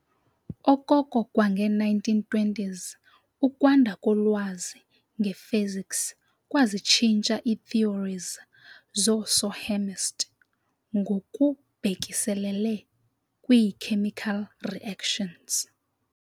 Okoko kwange-1920s, ukwanda kolwazi nge-physics kwazitshintsha ii-theories zoosohhemist' ngokubhekiselele kwii-chemical reactions.